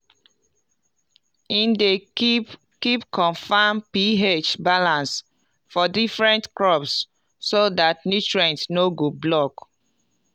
e dey keep keep confam ph balance for different crops so dat nutrients no go block